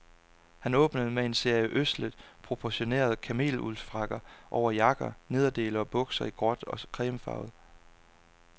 Han åbnede med en serie ødselt proportionerede kameluldsfrakker over jakker, nederdele og bukser i gråt og cremefarvet.